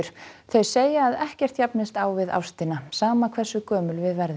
þau segja að ekkert jafnist á við ástina sama hversu gömul við verðum